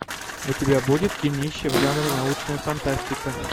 у тебя будет кинище в жанре научная фантастика